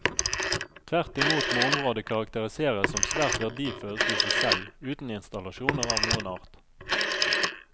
Tvert imot må området karakteriseres som svært verdifullt i seg selv uten installasjoner av noen art.